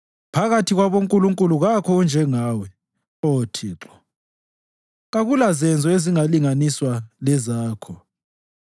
Phakathi kwabonkulunkulu kakho onjengawe, Oh Thixo; kakulazenzo ezingalinganiswa lezakho.